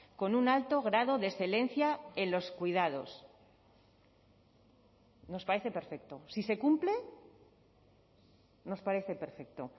con un alto grado de excelencia en los cuidados nos parece perfecto si se cumple nos parece perfecto